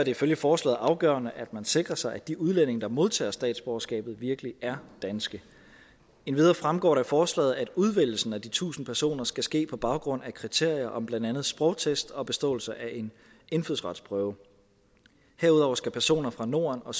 ifølge forslaget afgørende at man sikrer sig at de udlændinge der modtager statsborgerskabet virkelig er danske endvidere fremgår det af forslaget at udvælgelsen af de tusind personer skal ske på baggrund af kriterier om blandt andet sprogtest og beståelse af en indfødsretsprøve herudover skal personer fra norden og